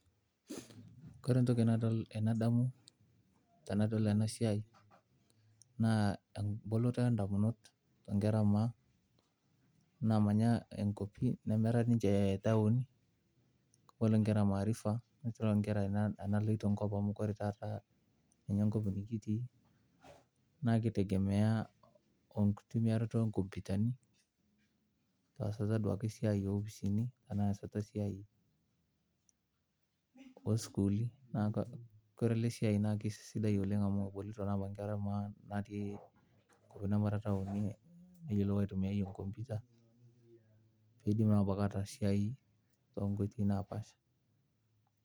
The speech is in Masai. Ore entoki nadamu tanadol enasiai na emboloto ondamunot onkera emaa namanya nkwapi nemera ninche ntauni nisho nkera maarifa enkop amu ore taata enkop nikitii na kitegemea enkitumiaroto onkomputani tesiai onkopisini esiai osukuli na ore ele siai na kesidai oleng amu egolito na nkera emaa kuna nemetii ntauni neyilou aitumia nkomputa kidim ataas esiai tonkoitoi napaasha.